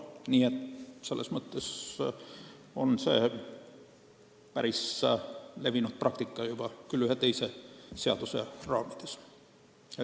Nii et see on ühe teise seaduse raamides juba päris levinud praktika.